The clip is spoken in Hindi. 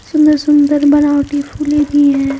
सुंदर सुंदर बनावटी फूले भी है।